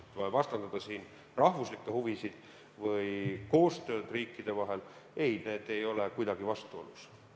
Pole mõtet vastandada siin rahvuslikke huvisid või koostööd riikide vahel – ei, need ei ole kuidagi vastuolus.